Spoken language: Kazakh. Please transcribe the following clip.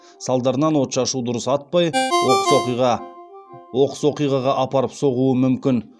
салдарынан отшашу дұрыс атпай оқыс оқиға оқыс оқиғаға апарып соғуы мүмкін